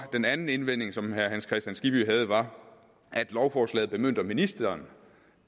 den anden indvending som herre hans kristian skibby havde var at lovforslaget bemyndiger ministeren